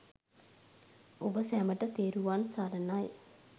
ඔබ සැමට තෙරුවන් සරණයි